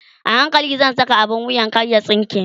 a hankali zan Saka abun wuyan kar ya tsinke